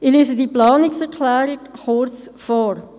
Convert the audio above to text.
Ich lese diese Planungserklärung kurz vor: